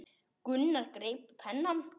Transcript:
Gunnar greip penna.